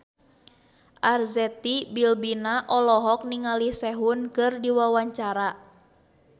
Arzetti Bilbina olohok ningali Sehun keur diwawancara